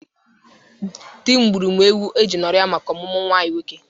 Di m gburu m ewo e ji ñụrịa maka ọmụmụ nwa anyị nwoke.